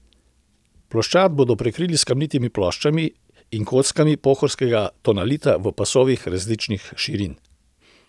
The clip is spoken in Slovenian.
Ploščad bodo prekrili s kamnitimi ploščami in kockami pohorskega tonalita v pasovih različnih širin.